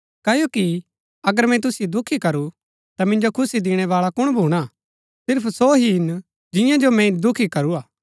क्ओकि अगर मैंई तुसिओ दुखी करू ता मिन्जो खुशी दिणैबाळा कुण भूणा सिर्फ सो ही हिन जिंआ जो मैंई दुखी करूआ